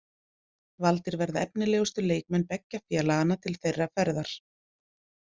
Valdir verða efnilegustu leikmenn beggja félaganna til þeirra ferðar.